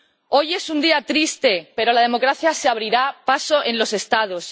Hoy es un día triste, pero la democracia se abrirá paso en los Estados.